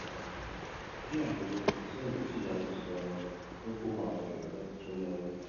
bí àwọn òré rè ṣe ń wò ó tìyanutìyanu mú kó máa bèrù láti tún yáwó